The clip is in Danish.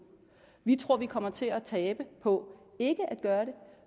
vi tror vi kommer til at tabe på ikke at gøre det